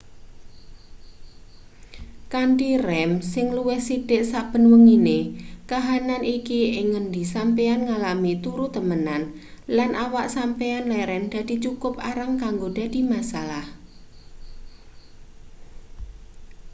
kanthi rem sing luwih sithik saben wengine kahanan iki ing ngendi sampeyan ngalami turu temenan lan awak sampeyan leren dadi cukup arang kanggo dadi masalah